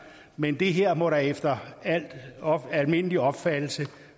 men det her må da efter al almindelig opfattelse